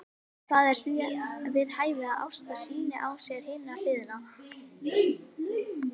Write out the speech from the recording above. Það er því við hæfi að Ásta sýni á sér hina hliðina.